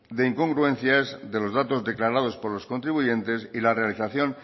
de incongruencias de los datos declarados por los contribuyente y la realización